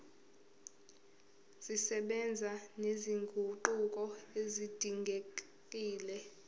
zisebenza nezinguquko ezidingekile